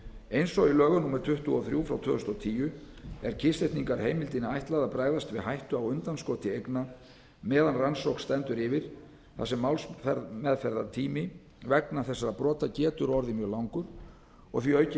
eins og í lögum númer tuttugu og þrjú tvö þúsund og tíu er kyrrsetningarheimildinni ætlað að bregðast við hættu á undanskoti eigna meðan rannsókn stendur yfir þar sem málsmeðferðartími vegna þessara brota getur orðið mjög langur og því aukin